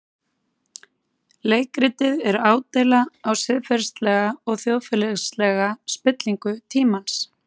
Leikritið er ádeila á siðferðilega og þjóðfélagslega spillingu tímans.